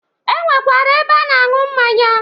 E nwekwara ebe a na-aṅụ mmanya.